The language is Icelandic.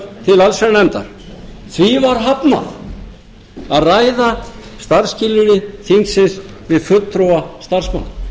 allsherjarnefndar því var hafnað að ræða starfsskilyrði þingsins við fulltrúa starfsmanna